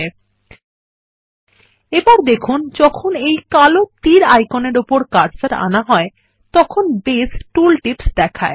লক্ষ্য করুন যখন এই কালো তীর আইকনের উপর কার্সার আনা হয় তখন বেস টুল টিপস দেখায়